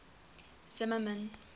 zimmermann